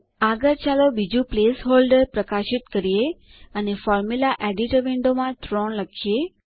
આગળ ચાલો બીજું પ્લેસ હોલ્ડર પ્રકાશિત કરીએ અને ફોર્મુલા એડિટર વિન્ડોમાં 3 લખીએ